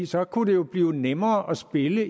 så kunne det jo blive nemmere at spille